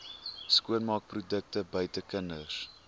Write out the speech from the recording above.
skoonmaakprodukte buite kinders